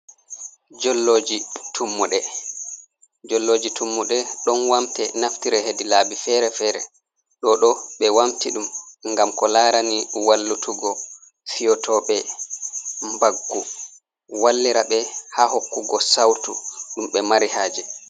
"Jolloji tummuɗe" ɗon wamte naftire hedi laabi fere-fere. Ɗo ɗo ɓe wamti ɗum ngam ko larani wallutugo fiotoɓe mbaggu wallira be ha hokkugo sautu ɗum ɓe mari haje.